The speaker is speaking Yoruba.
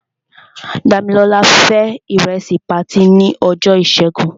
Dámilọ́lá fé ìrẹsì patí ní ọjọ́ ìṣẹ́gun.